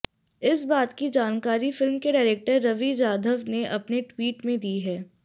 इस बात की जानकारी फिल्म के डायरेक्टर रवि जाधव ने अपने ट्वीट में दी है